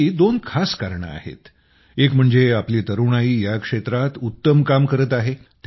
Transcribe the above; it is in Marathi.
याची दोन खास कारणे आहेत एक म्हणजे आपली तरुणाई या क्षेत्रात उत्तम काम करत आहे